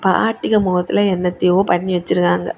ஆன்ட்டிக முகத்தில என்னத்தையோ பண்ணி வச்சிருக்காங்க.